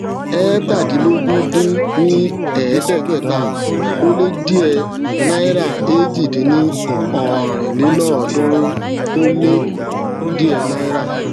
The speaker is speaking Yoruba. eétàdínlógún dín ní ẹẹdẹgbẹta ó lé díẹ náíràèjì dín ní ọrin lélọọdúnrún ó lé díẹ náírà